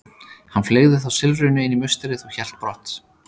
Hann fleygði þá silfrinu inn í musterið og hélt brott.